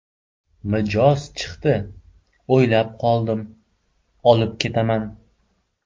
Mijoz chiqdi, o‘ylab qoldim: ‘Olib ketaman.